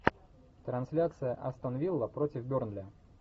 трансляция астон вилла против бернли